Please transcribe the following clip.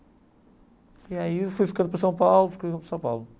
E ai eu fui ficando por São Paulo ficando por São Paulo.